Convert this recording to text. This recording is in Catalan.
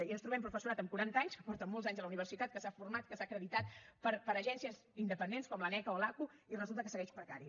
i ens trobem professorat amb quaranta anys que porta molts anys a la universitat que s’ha format que s’ha acreditat per agències independents com l’aneca o l’aqu i resulta que segueix precari